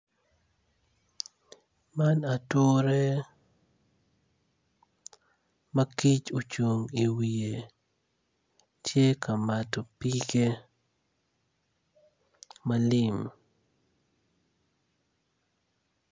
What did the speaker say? Man ature ma kic ocung i wiye tye ka mato pige malim.